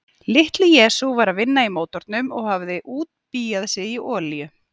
Litli-Jesús var að vinna í mótornum og hafði útbíað sig í olíu.